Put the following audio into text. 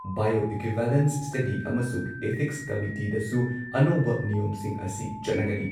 Bio equivalence ꯁ꯭ꯇꯗꯤꯑꯃꯁꯨꯡ ethics ꯀꯃꯤꯇꯤꯗꯁꯨ ꯑꯅꯧꯕ ꯅꯤꯌꯣꯝꯁꯤꯡ ꯑꯁꯤ ꯆꯠꯅꯒꯅꯤ ꯫